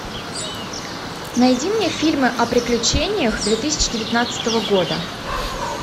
найди мне фильмы о приключениях две тысячи девятнадцатого года